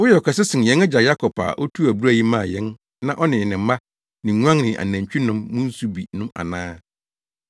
Woyɛ ɔkɛse sen yɛn agya Yakob a otuu abura yi maa yɛn na ɔne ne mma, ne nguan ne nʼanantwi nom mu nsu bi no ana?”